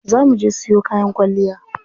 Za muje siyo kayan kwalliya.